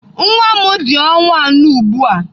Nwa m dị ọnwa anọ ugbu a.